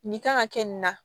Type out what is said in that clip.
Nin kan ka kɛ nin na